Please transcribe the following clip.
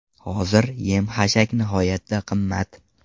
Hozir yem-xashak nihoyatda qimmat.